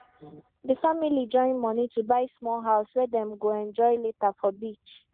d family join money to buy small house wey dem go enjoy later for beach